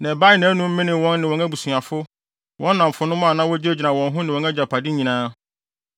na ɛbaee nʼanom menee wɔn ne wɔn abusuafo, wɔn nnamfonom a na wogyinagyina wɔn ho ne wɔn agyapade nyinaa.